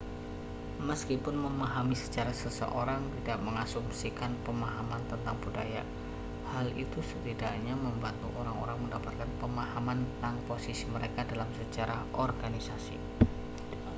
meskipun memahami sejarah seseorang tidak mengasumsikan pemahaman tentang budaya hal itu setidaknya membantu orang-orang mendapatkan pemahaman tentang posisi mereka dalam sejarah organisasi